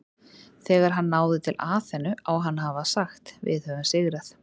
Þegar hann náði til Aþenu á hann að hafa sagt Við höfum sigrað!